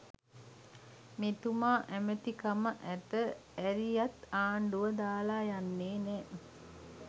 මෙතුමා ඇමති කම ඇත ඇරියත් ආණ්ඩුව දාල යන්නෙ නෑ.